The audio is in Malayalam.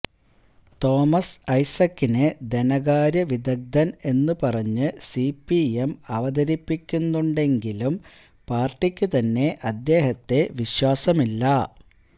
തോമസ് ഐസക്കിനെ ധനകാര്യ വിദഗ്ദ്ധന് എന്നുപറഞ്ഞ് സിപിഎം അവതരിപ്പിക്കുന്നുണ്ടെങ്കിലും പാര്ട്ടിക്കുതന്നെ അദ്ദേഹത്തെ വിശ്വാസമില്ല